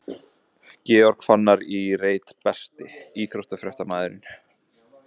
Georg Fannar í reit Besti íþróttafréttamaðurinn?